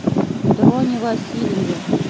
дроне васильеве